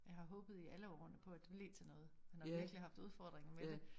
Jeg har håbet i alle årene på at det blev til noget man har virkelig haft udfordringer med det